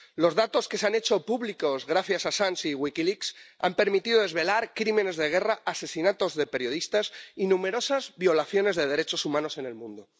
Los datos que se han hecho públicos gracias a Julian Assange y WikiLeaks, han permitido desvelar crímenes de guerra, asesinatos de periodistas y numerosas violaciones de derechos humanos en el mundo.